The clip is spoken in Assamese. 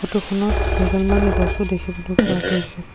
ফটো খনত কেইডালমান গছো দেখিবলৈ পোৱা গৈছে।